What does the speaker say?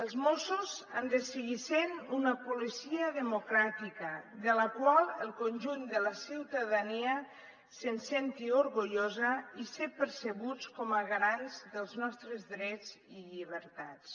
els mossos han de seguir sent una policia democràtica de la qual el conjunt de la ciutadania se’n senti orgullosa i ser percebuts com a garants dels nostres drets i llibertats